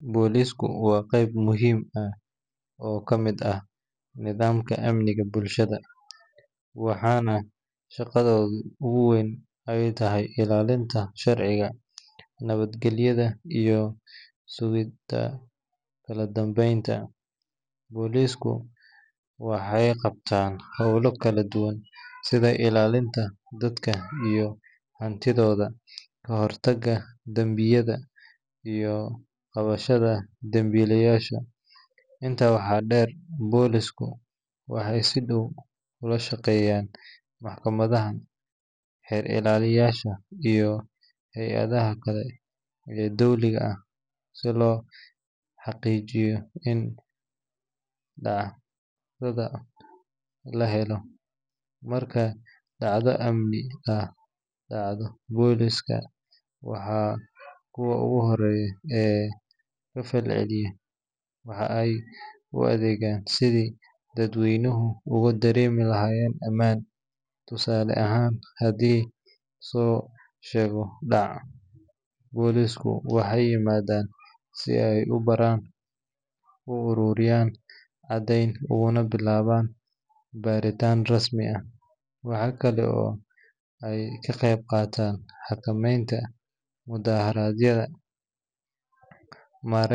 Boolisku waa qayb muhiim ah oo ka mid ah nidaamka amniga bulshada, waxaana shaqadooda ugu weyn ay tahay ilaalinta sharciga, nabadgelyada, iyo sugidda kala dambeynta. Boolisku waxay qabtaan howlo kala duwan sida ilaalinta dadka iyo hantidooda, ka hortagga dambiyada, iyo qabashada dembiilayaasha. Intaa waxaa dheer, boolisku waxay si dhow ula shaqeeyaan maxkamadaha, xeer-ilaaliyeyaasha, iyo hay’adaha kale ee dowliga ah si loo xaqiijiyo in cadaalad la helo. Marka dhacdo amni darro ah dhacdo, boolisku waa kuwa ugu horreeya ee ka falceliya, waxaana ay u adeegaan sidii dadweynuhu ugu dareemi lahaayeen ammaan. Tusaale ahaan, haddii la soo sheego dhac, boolisku waxay yimaadaan si ay u baaraan, u ururiyaan caddayn, ugana bilaabaan baaritaan rasmi ah. Waxaa kale oo ay ka qayb qaataan xakameynta mudaaharaadyada.